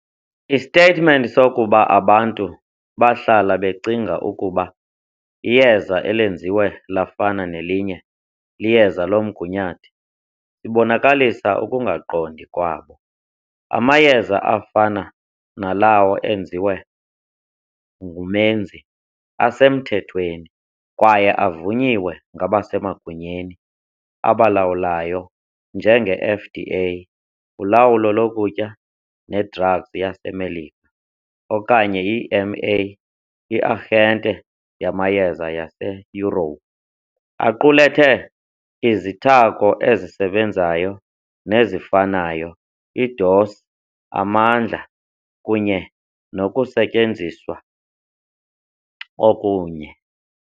Istetimenti sokuba abantu bahlala becinga ukuba iyeza elenziwe lafana nelinye liyeza lomgunyathi ibonakalisa ukungaqondi kwabo. Amayeza afana nalawo enziwe ngumenzi asemthethweni kwaye avunyiwe ngabasemagunyeni, abalawulayo njengeFDA, ulawulo lokutya ne-drugs yaseMelika, okanye iEMA, iarhente yamayeza yaseYurophu, aqulethe izithako ezisebenzayo nezifanayo, idosi, amandla kunye nokusetyenziswa okunye.